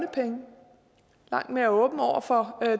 langt mere åbne over for